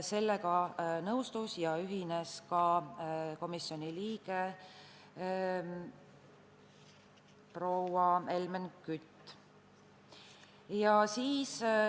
Sellega nõustus komisjoni liige proua Helmen Kütt.